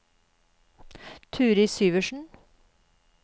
Turid Syversen